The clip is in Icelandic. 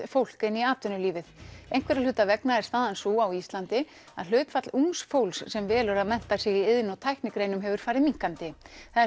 fólk inn í atvinnulífið einhverra hluta vegna er staðan sú á Íslandi að hlutfall ungs fólks sem velur að mennta sig í iðn og tæknigreinum hefur farið minnkandi það er